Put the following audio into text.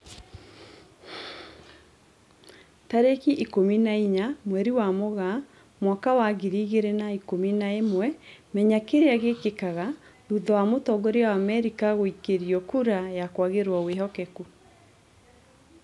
Tarĩki ikũmi na inya mweri wa Mũgaa mwaka wa ngiri igĩrĩ na ikũmi na ĩmwe Menya kĩrĩa gĩkĩkaga thutha wa mũtongoria wa Amerika gũikĩrio kura ya kwagĩrwo wĩhokeku